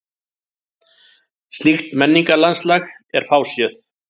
Slíkt menningarlandslag er fáséð.